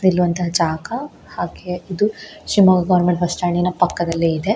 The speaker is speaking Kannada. ನಿಲ್ಲುವಂತ ಜಾಗ ಹಾಗೆ ಇದು ಶಿಮೊಗ್ಗ ಗೊವೆರ್ಮೆಂಟ್ ಬಸ್ ಸ್ಟ್ಯಾಂಡಿನ ಪಕ್ಕದಲ್ಲಿದೆ.